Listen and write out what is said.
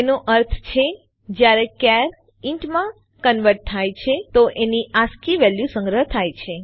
એનો અર્થ છે જયારે ચાર ઇન્ટ માં કન્વર્ટ થાય છે તો એની આસ્કી વેલ્યુ સંગ્રહ થાય છે